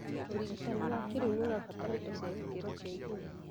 ũrigitani wa kĩrĩu nĩũrabatara indo cia gĩkĩro kĩa igũrũ